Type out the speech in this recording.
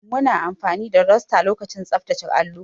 Muna amfani da duster lokacin tsaftace allo.